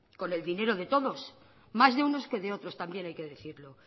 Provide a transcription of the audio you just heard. con el dinero de todos más de unos que de otros también hay que decirlo